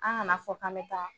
An kana fɔ k'an me taa